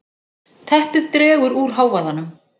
Teppið dregur úr hávaðanum.